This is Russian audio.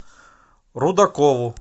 рудакову